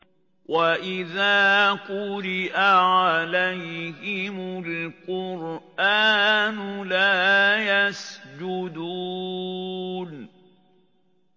وَإِذَا قُرِئَ عَلَيْهِمُ الْقُرْآنُ لَا يَسْجُدُونَ ۩